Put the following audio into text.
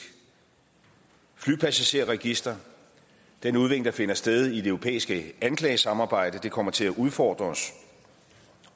flypassagerregister den udvikling der finder sted i det europæiske anklagesamarbejde kommer til at udfordre os